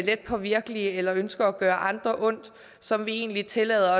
let påvirkelige eller ønsker at gøre andre ondt som vi egentlig tillader